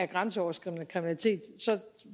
grænseoverskridende kriminalitet